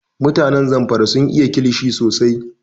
Mutanen Zamfara sun iya kilishi sosai